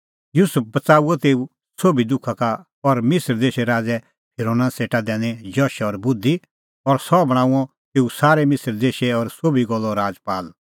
युसुफ बच़ाऊअ तेऊए सोभी दुखा का और मिसर देशे राज़ै फिरोना सेटा दैनी जश और बुधि और सह बणांअ तेऊ सारै मिसर देशै और सोभी गल्लो राजपाल